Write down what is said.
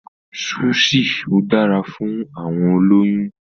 Súṣì ò dára fún àwọn olóyún.